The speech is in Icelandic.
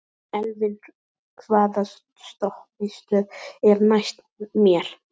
Elvin, hvaða stoppistöð er næst mér?